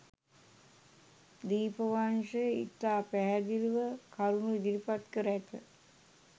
දීපවංශය ඉතා පැහැදිළිව කරුණු ඉදිරිපත් කර ඇත.